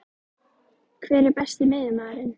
Hver er Besti miðjumaðurinn?